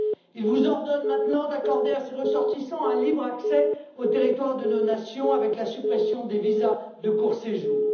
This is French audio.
Il vous ordonne maintenant d'accorder à ses ressortissants un libre accès au territoire de nos nations, avec la suppression des visas de court séjour.